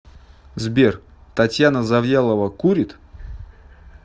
сбер татьяна завьялова курит